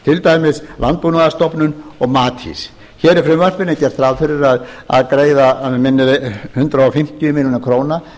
dæmis landbúnaðarstofnun og matís hér í frumvarpinu er gert ráð fyrir að greiða að mig minnir hundrað fimmtíu milljónir króna